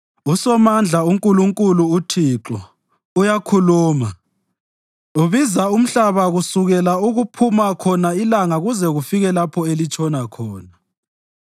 USomandla, uNkulunkulu, uThixo, uyakhuluma, ubiza umhlaba kusukela okuphuma khona ilanga kuze kufike lapho elitshona khona.